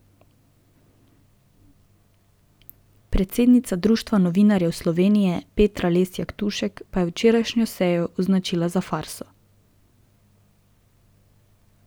Predsednica Društva novinarjev Slovenije Petra Lesjak Tušek pa je včerajšnjo sejo označila za farso.